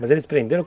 Mas eles?